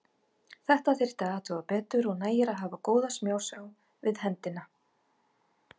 Þetta þyrfti að athuga betur og nægir að hafa góða smásjá við hendina.